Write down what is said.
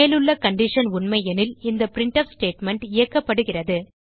மேலுள்ள கண்டிஷன் உண்மையெனில் இந்த பிரின்ட்ஃப் ஸ்டேட்மெண்ட் இயக்கப்படுகிறது